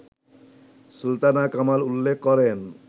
সুলতানা কামাল উল্লেখ করেন